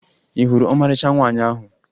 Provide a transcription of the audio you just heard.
Ị hụrụ ọmarịcha nwaanyị ahụ?